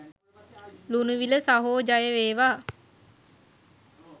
ලුණුවිල සහෝ ජය වේවා